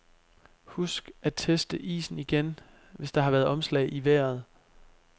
Husk at teste isen igen, hvis der har været omslag i vejret.